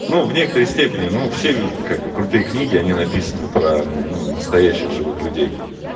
ну в некоторой степени ну все как-бы крутые книги они написаны про ну настоящих ну живых людей